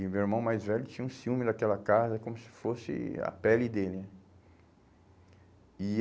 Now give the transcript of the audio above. E o meu irmão mais velho tinha um ciúme daquela casa, como se fosse a pele dele. E